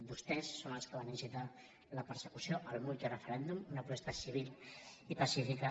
vostès són els que van incitar la persecució al multireferèndum una protesta civil i pacífica